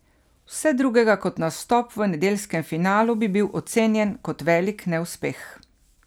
Vse drugega kot nastop v nedeljskem finalu bi bil ocenjen kot velik neuspeh.